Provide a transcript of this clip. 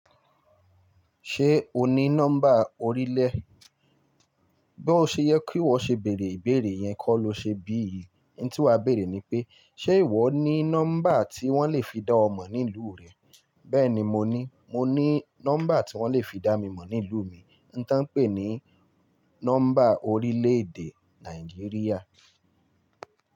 Ṣé o ní nọ́mbà orílẹ̀? Bí ó ṣe yẹ kí ìwọ ṣe bèrè ìbéèrè yẹn kọ́ lo ṣe bí yìí. In tí wá bèrè ni pé, ṣé ìwọ ní nọ́mbà tí wọ́n lè fi dá ọ mọ̀ ní ìlú rẹ? Bẹ́ẹ̀ni mo ní, mo ní nọ́mbà tí wọ́n lè fi dá mi mọ̀ ní ìlú mi. N táń pè ní nọ́mbà orílẹ̀ èdè Nàìjíríà.